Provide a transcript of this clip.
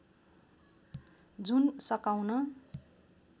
जुन सकाउन